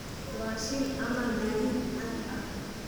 waa shil ama gaadiid caadi ah